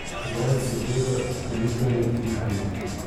Zrak, svoboda, premikanje, dihanje ...